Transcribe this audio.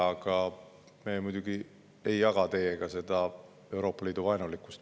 Aga ma muidugi ei jaga teiega seda Euroopa Liidu vaenulikkust.